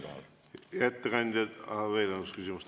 Hea ettekandja, on veel üks küsimus.